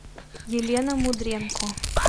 елена мудренко